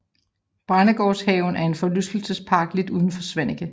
Brændesgårdshaven er en forlystelsespark lidt uden for Svaneke